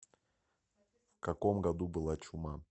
в каком году была чума